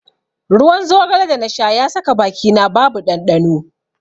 Ruwan zogale da na sha ya saka bakina babu ɗanɗano.